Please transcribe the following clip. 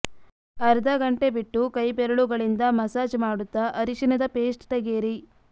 ಅರ್ಧ ಗಂಟೆ ಬಿಟ್ಟು ಕೈ ಬೆರಳುಗಳಿಂದ ಮಸಾಜ್ ಮಾಡುತ್ತ ಅರಿಶಿನದ ಪೇಸ್ಟ್ ತೆಗೆಯಿರಿ